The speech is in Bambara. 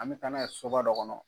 An bɛ taa n'a ye soba dɔ kɔnɔ.